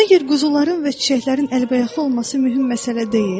Məgər quzuların və çiçəklərin əlbəyaxlı olması mühüm məsələ deyil?